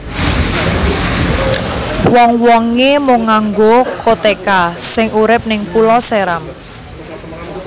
Wong wonge mung nganggo koteka sing urip ning Pulau Seram